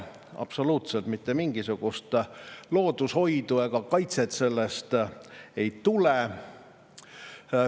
Absoluutselt mitte mingisugust loodushoidu ega looduse kaitset sellega ei tule.